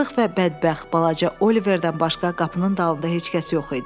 Yazıq və bədbəxt balaca Oliverdən başqa qapının dalında heç kəs yox idi.